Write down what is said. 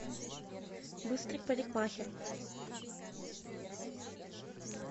быстрый парикмахер